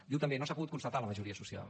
diu també no s’ha pogut constatar la majoria social